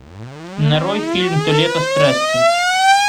нарой фильм то лето страсти